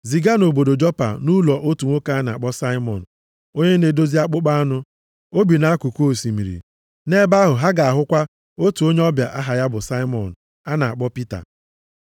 Ziga nʼobodo Jopa nʼụlọ otu nwoke a na-akpọ Saimọn, onye na-edozi akpụkpọ anụ. O bi nʼakụkụ osimiri.’ Nʼebe ahụ ha ga-ahụkwa otu onye ọbịa aha ya bụ Saimọn a na-akpọ Pita.